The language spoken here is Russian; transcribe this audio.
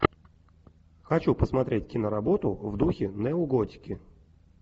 хочу посмотреть киноработу в духе неоготики